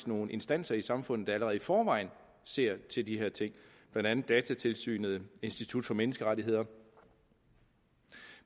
nogle instanser i samfundet der allerede i forvejen ser til de her ting blandt andet datatilsynet og institut for menneskerettigheder